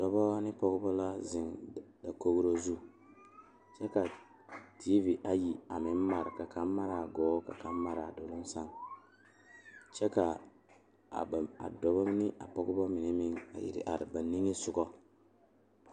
Dɔɔba ba ba zeŋ leɛ la ba puori ko zie ba naŋ daare bayi zeŋ ta la teŋa bata vɔgle la sapele naŋ waa peɛle bonyene vɔgle sapele naŋ e sɔglɔ ba taa la ba tontuma boma kaa waa buluu.